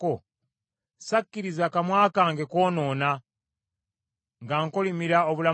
sakkiriza kamwa kange kwonoona nga nkolimira obulamu bwe.